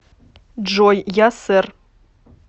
джой я сэр